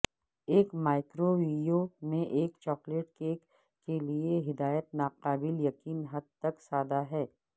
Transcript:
ایک مائکروویو میں ایک چاکلیٹ کیک کے لئے ہدایت ناقابل یقین حد تک سادہ ہے